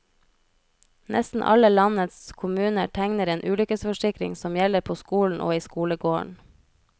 Nesten alle landets kommuner tegner en ulykkesforsikring som gjelder på skolen og i skolegården.